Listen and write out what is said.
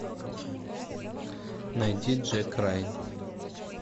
найди джек райан